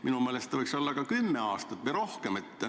Minu meelest see võiks olla ka kümme aastat või rohkem.